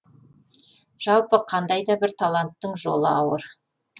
жалпы қандайда бір таланттың жолы ауыр